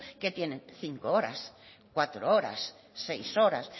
que tienen cinco horas cuatro horas seis horas